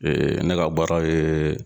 ne ka baara ye